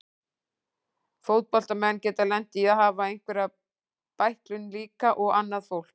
Fótboltamenn geta lent í að hafa einhverja bæklun líka og annað fólk.